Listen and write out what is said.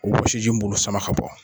O wɔsiji b'olu sama ka bɔ.